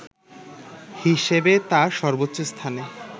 হিসেবে তার সর্বোচ্চ স্থানে